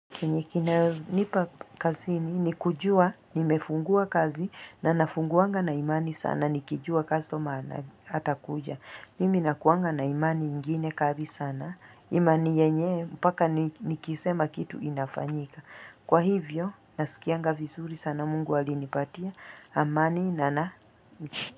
Kenye kinayonipa kazini ni kujua, nimefungua kazi na nafunguanga na imani sana, nikijua customer ana atakuja. Mimi nakuanga na imani ingine kari sana, imani yenye, mbaka nikisema kitu inafanyika. Kwa hivyo, nasikianga visuri sana mungu alinipatia, amani na na nchi.